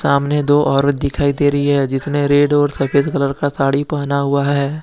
सामने दो औरत दिखाई दे रही है जिसने रेड और सफेद कलर का साड़ी पहना हुआ है।